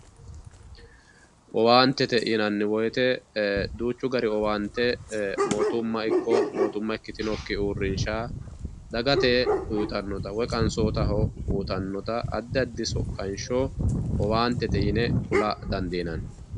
owaantete yinanni woyite duuchu dani owaante ee mootimma ikko mootimma ikkitinokki uurrinsha dagate uyiitannota woyi qansootaho uyiitannota addi addi soqqansho owaantete yine kula dandiinanni.